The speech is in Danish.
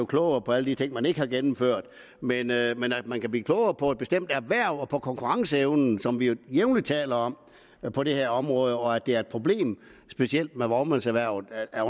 klogere på alle de ting den ikke har gennemført men at man kan blive klogere på et bestemt erhverv og på konkurrenceevnen som vi jo jævnligt taler om på det her område og at det er et problem specielt for vognmandserhvervet at